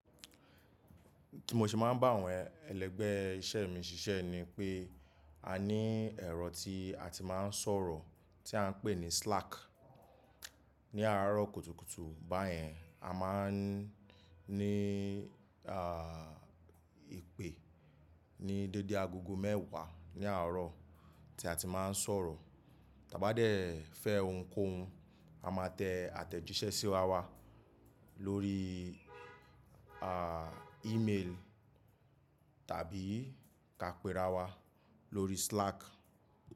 Tí mo ṣe máa ń bá àwọn ẹlẹgbẹ́ iṣẹ́ mi ṣiṣẹ́ ni pé a ní ẹ̀rọ tí a ti máa ń sọ̀rọ̀ tí à ń pè ní Slack. Ní àárọ̀ kùtùkùtù báyẹn, a máa ń ní à ìpè ní dédé agogo mẹ́wàá ní àárọ̀ tí a ti máa ń sọ̀rọ̀. Tábá dé fẹ́ ohunkóhun, a máa tẹ àtẹ̀jíṣẹ́ sí rá wá lórí ìmelì tàbí ká péra wa lórí Slack.